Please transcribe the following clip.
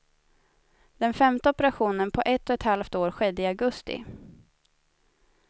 Den femte operationen på ett och ett halvt år skedde i augusti.